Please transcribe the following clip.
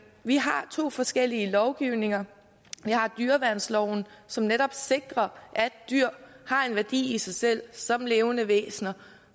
vi har to forskellige lovgivninger vi har dyreværnsloven som netop sikrer at dyr har en værdi i sig selv som levende væsener